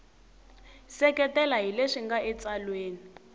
seketela hi leswi nga etsalweni